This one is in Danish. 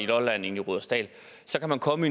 lolland end i rudersdal så kan man komme